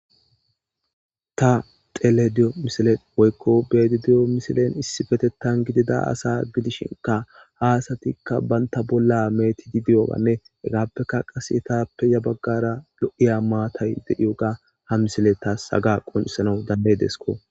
Ta xelayda de'iyo misilen woyko be'ayda diyo misilen issipetetan diya ada gidido asa gidishinka ha asatika banta bolla mecid doyoganne hegappeka Qase ya bagara lo'iya matay Des.